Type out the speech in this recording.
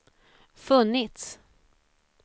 funnits